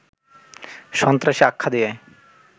সন্ত্রাসী আখ্যা দিয়ে